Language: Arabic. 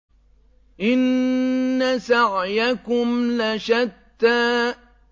إِنَّ سَعْيَكُمْ لَشَتَّىٰ